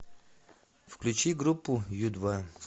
включи группу ю два